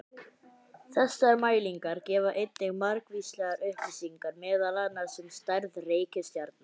Þessar mælingar gefa einnig margvíslegar upplýsingar meðal annars um stærð reikistjarna.